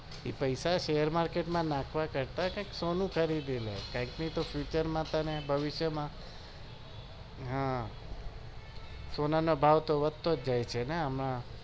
પેસા share market માં નાખવા કરતા કઈ સોનું ખરીદી લે ભવિષ્યમાં માં હા સોના નો ભાવ વધતો જાય છે ને આમે